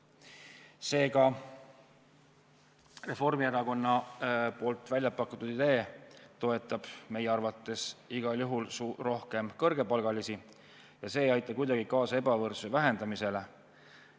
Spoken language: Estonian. Seega, Reformierakonna väljapakutud idee toetab meie arvates igal juhul rohkem kõrgepalgalisi ja see ei aita kuidagi kaasa ebavõrdsuse vähendamisele.